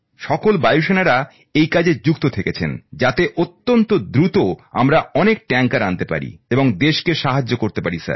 সকল বায়ু সেনার সদস্যরা এই কাজে যুক্ত থেকেছেন যাতে অত্যন্ত দ্রুত আমরা অনেক ট্যাংকার আনতে পারি এবং দেশকে সাহায্য করতে পারি স্যার